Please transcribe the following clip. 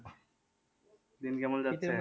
দিন কেমন